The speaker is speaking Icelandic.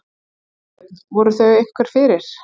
Þorbjörn: Voru þau einhver fyrir?